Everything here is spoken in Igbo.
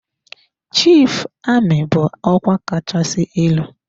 Chief Amị bụ ọkwa kachasị elu.